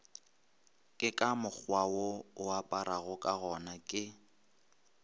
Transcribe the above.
ke ka mokgwawo oaparagokagona ke